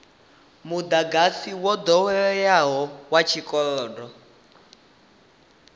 mudagasi wo doweleaho wa tshikolodo